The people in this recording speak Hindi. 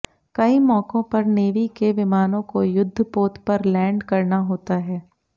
कई मौकों पर नेवी के विमानों को युद्धपोत पर लैंड करना होता है